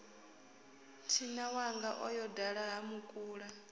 thinawanga o yo dala hamukula